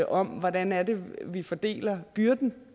om hvordan vi fordeler byrden